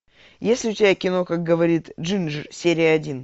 есть ли у тебя кино как говорит джинджер серия один